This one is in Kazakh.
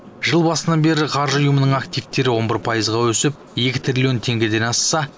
жыл басынан бері қаржы ұйымының активтері он бір пайызға өсіп екі триллион теңгеден асса